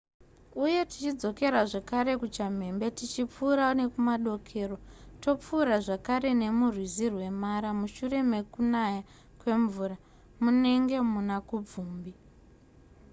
uye tichidzokera zvakare kuchamhembe tichipfuura nekumadokero topfuura zvakare nemurwizi rwemara mushure mekunaya kwemvura munenge muna kubvumbi